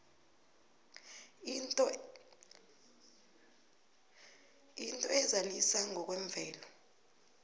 into ezalisa ngokwemvelo